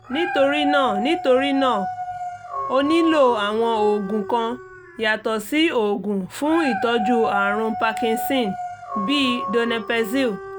nítorí náà nítorí náà ó nílò àwọn oògùn kan yàtọ̀ sí oògùn fún ìtọ́jú àrùn parkinson bíi donepezil